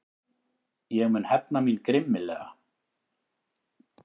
Ég mun hefna mín grimmilega.